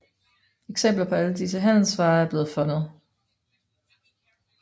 Eksempler på alle disse handelsvarer er blevet fundet